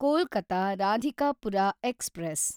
Kolkata Radhikapur express